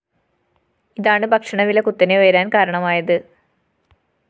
ഇതാണ് ഭക്ഷണ വില കുത്തനെ ഉയരാന്‍ കാരണമായത്